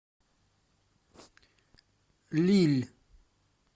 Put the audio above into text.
лилль